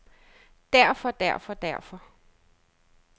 derfor derfor derfor